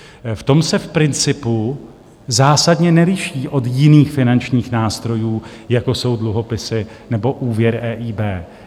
V tom se v principu zásadně neliší od jiných finančních nástrojů, jako jsou dluhopisy nebo úvěr EIB.